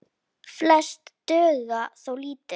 Flest duga þó lítið.